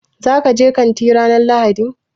Za ku je kanti ranar Lahadi?